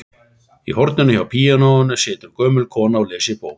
Í horninu hjá píanóinu situr gömul kona og les í bók.